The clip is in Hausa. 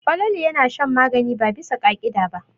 Falalu yana shan magani ba bisa ka'ida ba.